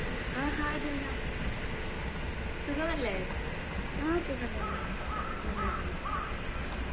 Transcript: ആഹാ ആ സുഖംതന്നെ നന്നായിട്ട് പോണു